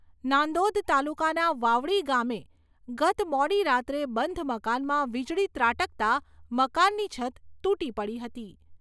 નાંદોદ તાલુકાના વાવડી ગામે ગત મોડી રાત્રે બંધ મકાનમાં વીજળી ત્રાટકતા મકાનની છત તૂટી પડી હતી.